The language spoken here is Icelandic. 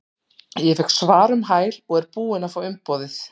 Ég fékk svar um hæl og er búinn að fá umboðið.